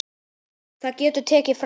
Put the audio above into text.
Það getur tekið frá